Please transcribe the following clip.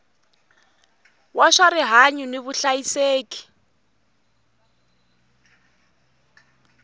wa swa rihanyu ni vuhlayiseki